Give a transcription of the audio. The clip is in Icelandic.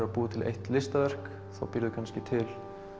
að búa til eitt listaverk þá býrðu kannski til